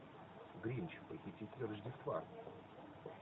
гринч похититель рождества